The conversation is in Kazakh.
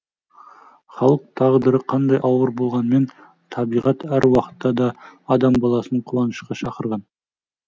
халық тағдыры қандай ауыр болғанмен табиғат әр уақытта да адам баласын қуанышқа шақырған